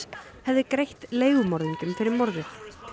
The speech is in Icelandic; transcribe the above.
hefði greitt leigumorðingjum fyrir morðið